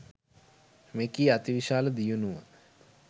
මෙකී අතිවිශාල දියුණුව